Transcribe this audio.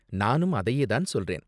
நானும் அதையே தான் சொல்றேன்.